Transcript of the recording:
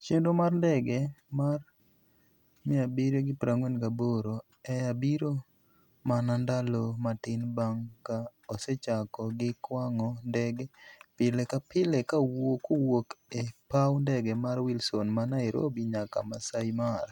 Chenro mar ndege mar 748 Air biro mana ndalo matin bang' ka osechako gi kwang'o ndege pile ka pile kowuok e paw ndege mar Wilson ma Nairobi nyaka Masai Mara.